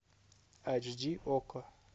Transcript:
айч ди окко